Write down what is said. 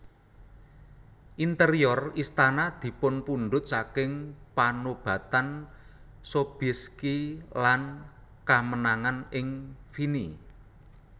Interior Istana dipunpundhut saking panobatan Sobieski lan kamenangan ing Vienne